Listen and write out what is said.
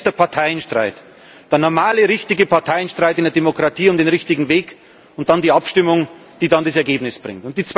Das eine ist der Parteienstreit, der normale, richtige Parteienstreit in der Demokratie um den richtigen Weg, und dann die Abstimmung, die dann das Ergebnis bringt.